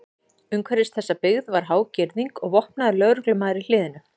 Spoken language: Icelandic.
Umhverfis þessa byggð var há girðing og vopnaður lögreglumaður í hliðinu.